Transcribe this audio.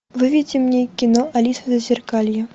выведи мне кино алиса в зазеркалье